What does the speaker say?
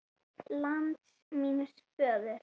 LAND MÍNS FÖÐUR